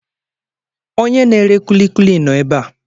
Onye na-ere kulikuli nọ ebe a.